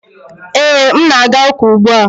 Ee, m na-aga ụka ugbu a